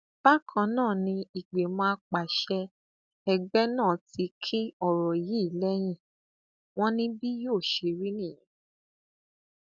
bákan náà ni ìgbìmọ àpasẹ ẹgbẹ náà ti kín ọrọ yìí lẹyìn wọn ni bí yóò ṣe rí nìyẹn